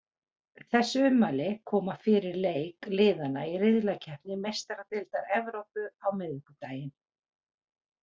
Þessi ummæli koma fyrir leik liðanna í riðlakeppni Meistaradeildar Evrópu á miðvikudaginn.